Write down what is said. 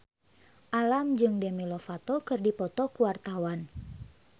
Alam jeung Demi Lovato keur dipoto ku wartawan